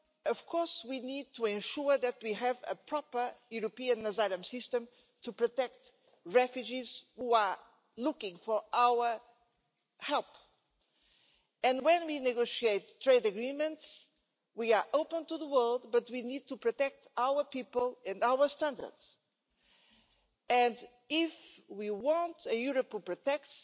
Of course we need to ensure that we have a proper European asylum system to protect refugees who are looking for our help, but when we negotiate trade agreements we need to ensure we are open to the world but we need to protect our people and our standards. If we want a Europe that protects,